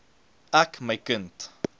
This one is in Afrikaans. ek my kind